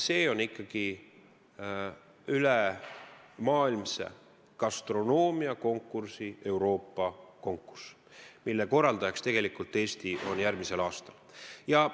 See on ülemaailmse gastronoomiakonkursi Euroopa konkurss, mille korraldaja Eesti järgmisel aastal on.